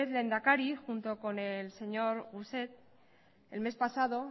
lehendakari junto con el señor rousset el mes pasado